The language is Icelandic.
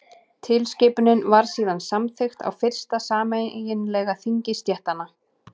tilskipunin var síðan samþykkt á fyrsta sameiginlega þingi stéttanna